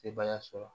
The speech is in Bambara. Sebaya sɔrɔ